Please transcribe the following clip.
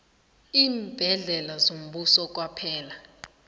iimbhedlela zombuso kwaphela